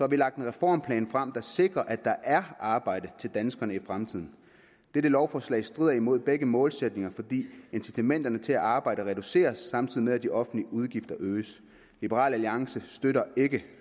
vi lagt en reformplan frem der sikrer at der er arbejde til danskerne i fremtiden dette lovforslag strider imod begge målsætninger fordi incitamentet til at arbejde reduceres samtidig med at de offentlige udgifter øges liberal alliance støtter ikke